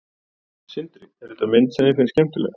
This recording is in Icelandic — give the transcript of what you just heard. Sindri: Er þetta mynd sem þér finnst skemmtileg?